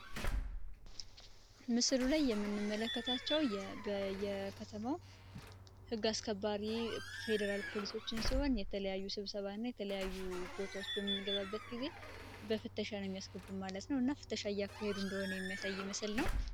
ምስሉ ላይ የምንምመለከታቸው የከተማው ሕግ አስከባሪ ፌዴራል ፖሊሶችን ሲሆን የተለያዩ ስብሰባ እና የተለያዩ ቦታዎች በምንገባበት ጊዜ በፍተሻ ነው የሚያስገቡ ማለት ነው እና ፍተሻ ያካሄዱ እንደሆኖ የሚያሳይ ምስል ነው።